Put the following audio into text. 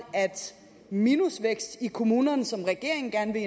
at minusvækst i kommunerne som regeringen gerne